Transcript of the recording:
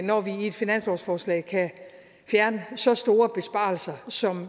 når vi i et finanslovsforslag kan fjerne så store besparelser som